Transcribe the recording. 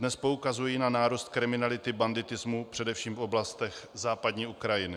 Dnes poukazují na nárůst kriminality, banditismu, především v oblastech západní Ukrajiny.